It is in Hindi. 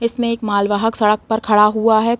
इसमें एक मालवाहक सड़क पर खड़ा हुआ है।